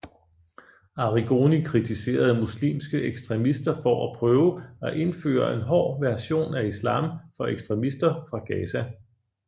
Arrigoni kritiserede muslimske ekstremister for at prøve at indføre en hård version af islam for ekstremister fra Gaza